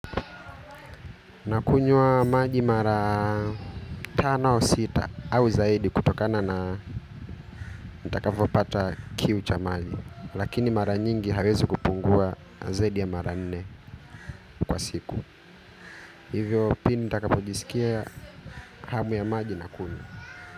Nakunywa maji mara tano au sita au zaidi kutokana na nitakavyopata kiu cha maji. Lakini mara nyingi haiwezi kupungua zaidi ya mara nne kwa siku. Hivyo pindi nitakapojisikia hamu ya maji nakunywa.